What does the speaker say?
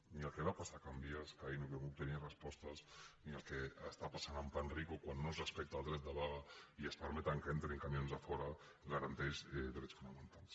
ni el que va passar a can vies que ahir no vam obtenir respostes ni el que està passant amb panrico quan no es respecta el dret de vaga i es permet que entrin camions de fora garanteix drets fonamentals